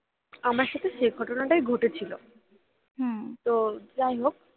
আমার সাথে সেই ঘটনাটাই ঘটেছিলো হুম তো যাই হোক